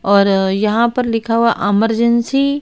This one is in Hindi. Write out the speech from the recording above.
और यहां पर लिखा हुआ अमर्जेंसी --